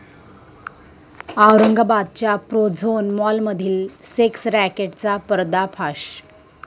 औरंगाबादच्या प्रोझोन मॉलमधील सेक्स रॅकेटचा पर्दाफाश